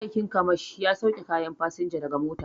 Ma'aikin kamashp ya sauke kayan fasinja daga mota